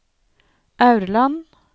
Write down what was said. Aurland